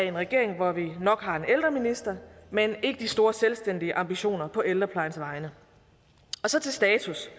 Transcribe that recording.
en regering hvor vi nok har en ældreminister men ikke de store selvstændige ambitioner på ældreplejens vegne så til status